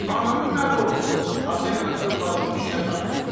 Ananın nə borcudur ata ilə övladın işinə qarışsın?